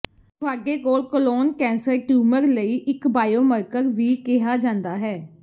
ਤੁਹਾਡੇ ਕੋਲ colon cancer tumour ਲਈ ਇਕ ਬਾਇਓਮਰਕਰ ਵੀ ਕਿਹਾ ਜਾਂਦਾ ਹੈ